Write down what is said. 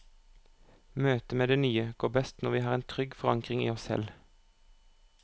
Møtet med det nye går best når vi har en trygg forankring i oss selv.